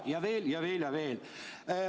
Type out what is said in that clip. Ja seda on olnud veel ja veel.